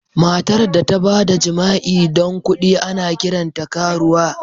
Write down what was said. Matar da ta ba da jima'i don kuɗi, ana kiranta karuwa.